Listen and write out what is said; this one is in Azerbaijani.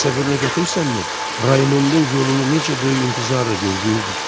Təsəvvürünə gətirirsənmi, Raymontun yolunu necə böyük intizarla gözləyirdim?